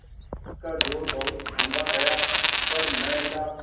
उसका जोड़ बहुत ढूँढ़ा गया पर न मिला